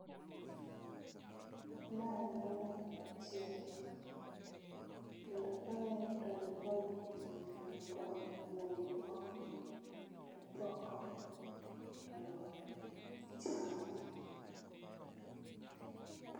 Mae en olemo mochiek kendo kang'iyo to en poi mochiek makoro onego opon tipoko to ichamo